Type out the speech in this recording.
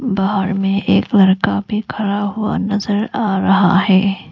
बाहर मे एक लड़का भी खड़ा हुआ नजर आ रहा है।